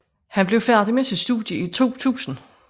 Han blev færdig med sit studie i 2000